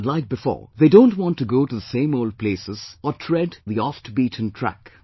Unlike before, they don't want to go to the same old places or tread the oft beaten track